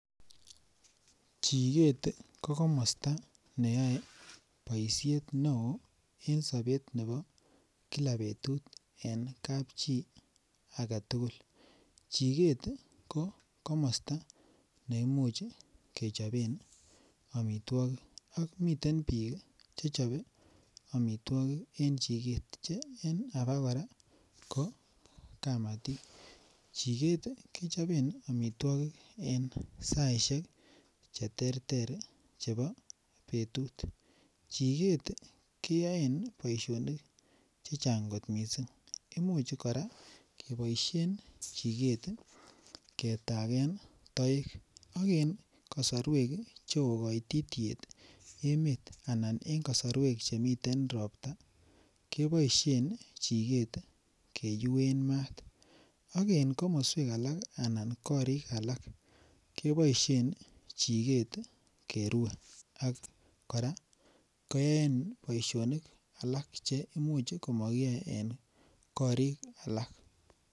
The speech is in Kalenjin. Chikeet ko komosta neyae boisiet neo en sobet nebo kila betut eng kap chii age tugul. Chikeet ko komosta neimuch kechopen amitwokik ak miten biik che chobe amitwokik eng chiket eng alak kora kokamati ako chikeet kechobee omitwokik en saishek cheterter chebo betut, chikeet keyoe boishonik chechang kot mising imuch kora keboishen chiket ketakeen toek ak en kasorwek cheo koititiet en emet anan eng kasarwek chemiten ropta keboishen chikeet keuen maat ako en komoswek alak anan en korik alak keboishen chikeet kerue akora en boishonik alak cheimuch komakiyoe en korik alak.